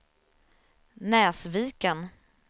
Näsviken